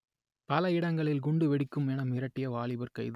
பல இடங்களில் குண்டு வெடிக்கும் என மிரட்டிய வாலிபர் கைது